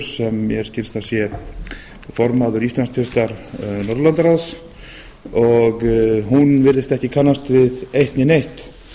sem mér skilst að sé formaður íslandsdeildar norðurlandaráðs og hún virðist ekki kannast við eitt né neitt